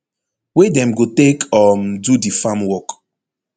wey dem go take um do di farm work